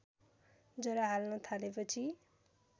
जरा हाल्न थालेपछि